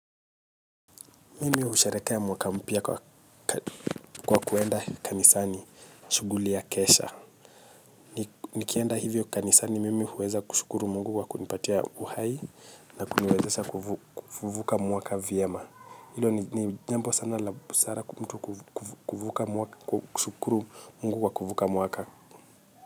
Mimi hushereka mwaka mpia kwa kuenda kanisani shuguli ya kesha. Nikienda hivyo kanisani, mimi huweza kushukuru mungu kwa kunipatia uhai na kuniweza kufuvuka mwaka viema. Hilo ni jambo sana la busara mtu kuvuka mwaka kushukuru Mungu kwa kuvuka mwaka.